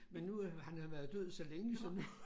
Men nu han har været død så længe så nu